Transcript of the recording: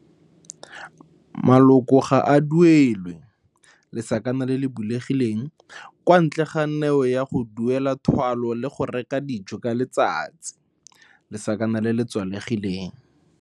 Maloko ga a duelwe kwa ntle ga neo ya go duela thwalo le go reka dijo ka letsatsi.